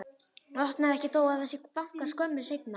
Opnar ekki þó að það sé bankað skömmu seinna.